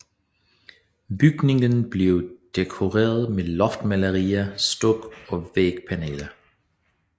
Bygningen blev dekoreret med loftmalerier stuk og vægpaneler